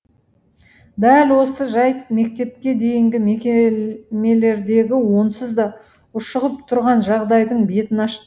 дәл осы жайт мектепке дейінгі мекемелердегі онсыз да ушығып тұрған жағдайдың бетін ашты